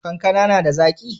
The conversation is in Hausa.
Kankana na da zaki?